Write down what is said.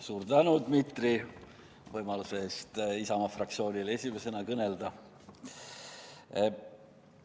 Suur tänu, Dmitri, võimaluse eest Isamaa fraktsioonil esimesena kõnelda!